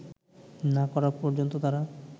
না করা পর্যন্ত তারা